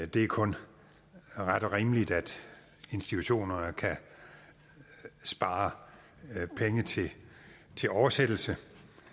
det er kun ret og rimeligt at institutionerne kan spare penge til oversættelse